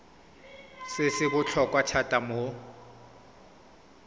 se se botlhokwa thata mo